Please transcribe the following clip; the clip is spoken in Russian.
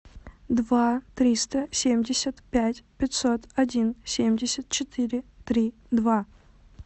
два триста семьдесят пять пятьсот один семьдесят четыре три два